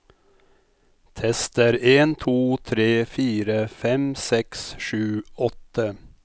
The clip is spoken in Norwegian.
Tester en to tre fire fem seks sju åtte